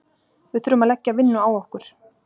Við þurfum að leggja vinnu á okkur.